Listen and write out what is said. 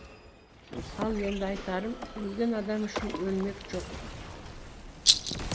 ал енді айтарым өлген адам үшін өлмек жоқ